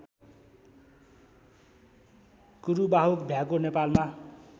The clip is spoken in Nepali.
कुरुबाहुक भ्याकुर नेपालमा